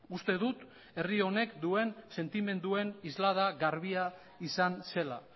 uste dut herri honek duen sentimenduen islada garbia izan zela